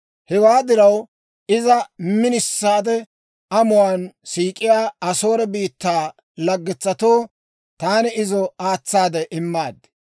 «Hewaa diraw, iza minisaade amuwaan siik'iyaa Asoore biittaa laggetsatoo taani izo aatsaade immaad.